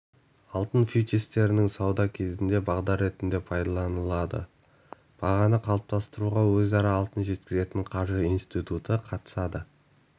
алтын фьючерстерінің саудасы кезінде бағдар ретінде пайдаланылады бағаны қалыптастыруға өзара алтын жеткізетін қаржы институты қатысады